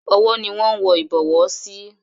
Ọwọ́ ni wón ń wọ Ìbọwọ́ sí.